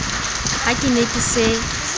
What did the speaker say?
ha ke ne ke se